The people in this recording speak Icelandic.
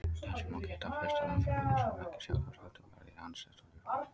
Þess má geta að fyrsta umferðarljósið var ekki sjálfvirkt heldur var því handstýrt af lögreglumanni.